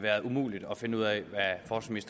været umuligt at finde ud af